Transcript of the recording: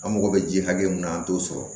An mago bɛ ji hakɛ min na an t'o sɔrɔ